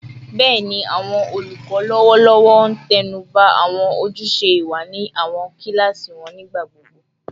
Bẹẹni, awọn olukọ lọwọlọwọ n tẹnuba awọn ojuse iwa ni awọn kilasi wọn nigbagbogbo